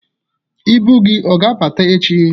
Ibu gị ọ ga-abata ech?